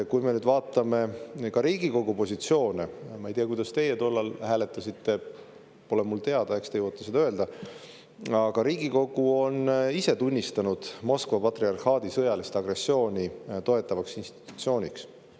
Kui me nüüd vaatame Riigikogu positsioone – ma ei tea, kuidas teie tollal hääletasite, see pole mulle teada, eks te jõuate seda öelda –, siis Riigikogu ise on Moskva patriarhaadi sõjalist agressiooni toetavaks institutsiooniks.